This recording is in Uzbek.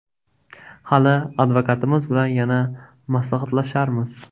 Hali advokatimiz bilan yana maslahatlasharmiz.